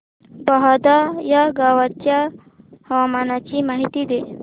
बहादा या गावाच्या हवामानाची माहिती दे